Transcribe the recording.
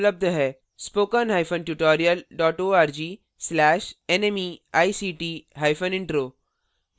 spoken hyphen tutorial dot org slash nmeict hyphen intro